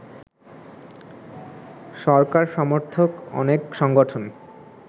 সরকার সমর্থক অনেক সংগঠন